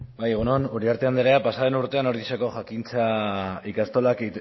bai egun on uriarte anderea pasa den urtean ordiziako jakintza